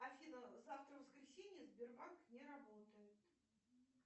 афина завтра воскресенье сбербанк не работает